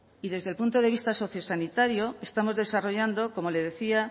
y desde el punto de vista sociosanitario estamos desarrollando como le decía